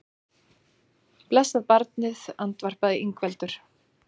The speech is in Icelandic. Blessað barnið, andvarpaði Ingveldur.